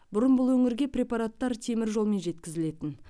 бұрын бұл өңірге препараттар теміржолмен жеткізілетін